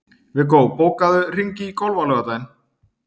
Viggó, bókaðu hring í golf á laugardaginn.